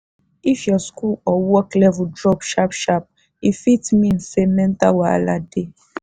if your school or work level drop sharp sharp e fit mean say mental wahala dey.